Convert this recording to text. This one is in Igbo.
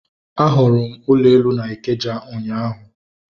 A hụrụ m ụlọ elu na Ikeja ụnyaahụ